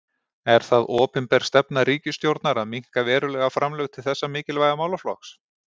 Er það opinber stefna ríkisstjórnar að minnka verulega framlög til þessa mikilvæga málaflokks?